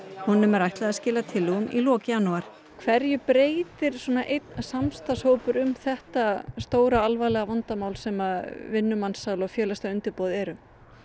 honum er ætlað að skila tillögum í lok janúar hverju breytir svona einn samstarfshópur um þetta stóra alvarlega vandamál sem vinnumansal og félagsleg undirboð eru